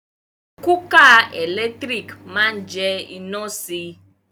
Kúkà ẹ̀lẹ́tírìkì ma jẹ iná si.